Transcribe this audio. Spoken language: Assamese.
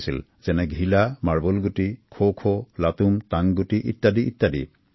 যেনেঘিলা মাৰ্বল গুটি খোখো টাংগুটি ইত্যাদি